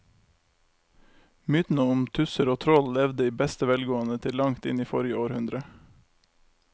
Mytene om tusser og troll levde i beste velgående til langt inn i forrige århundre.